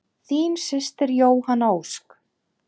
Þín systir Jóhanna Ósk.